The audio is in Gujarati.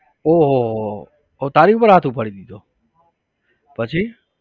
ઓહો હો હો તો તારી પર હાથ ઉપાડી દીધો પછી?